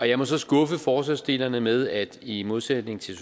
jeg må så skuffe forslagsstillerne med at i modsætning til